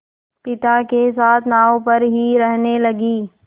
पिता के साथ नाव पर ही रहने लगी